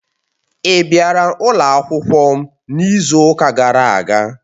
Ị bịara ụlọ akwụkwọ m n'izu ụka gara aga?